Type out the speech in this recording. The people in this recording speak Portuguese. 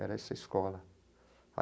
Era essa escola.